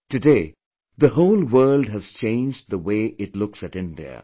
Today the whole world has changed the way it looks at India